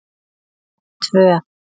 tvö